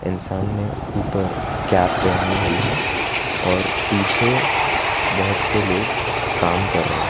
इंसान ने ऊपर कैप पहनी हुई है और पीछे बहुत से लोग काम कर रहे हैं।